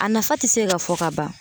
A nafa ti se ka fɔ ka ban.